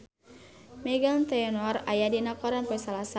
Meghan Trainor aya dina koran poe Salasa